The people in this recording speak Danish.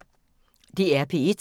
DR P1